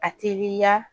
A teliya